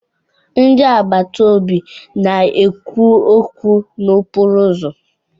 Ndị agbata obi na-ekwu okwu n'okporo ụzọ.